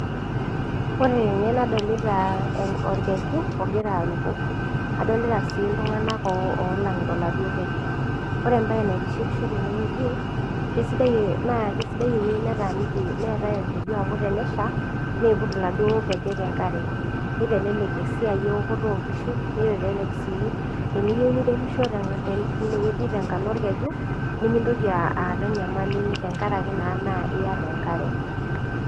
kadoliita orkejuu ooogira aruko kadolitaa sii iltunganak olangiita oaladuo kejuu koree emebae naitipishoo tenewueji kesidai ewuwji naa taniiki orkeju amuu teneshaa nipuut iladuo kejek enkaree nii telelek esiai eokoto oo nkishu nii telek sii teniyieu niremihoo taa bara orkejoo nielelek suu ketii enkare.